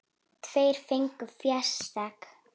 Tveir fengu fésekt.